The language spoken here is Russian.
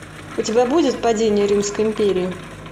у тебя будет падение римской империи